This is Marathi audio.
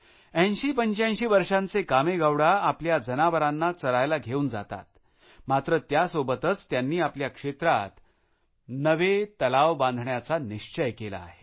8085 वर्षांचे कामेगौडा आपल्या जनावरांना चरायला घेऊन जातात मात्र त्यासोबतच त्यांनी आपल्या क्षेत्रात नवे तलाव बांधण्याचा निश्चय केला आहे